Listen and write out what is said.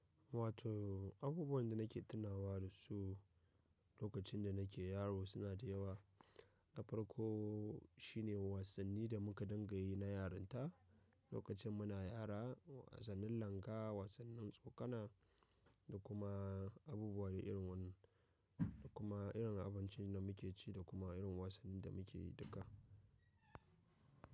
Wato abubuwan da nake tunawa da su lokacin da nake yaro suna da yawa. Na farko shine wasanni da muka dangayi na yaranta lokacin muna yara, wasannin langa, wasannin tsokana da kuma abubuwa iri wani da kuma irin abinci da muke ci da kuma irin wasannin da muke yi duka.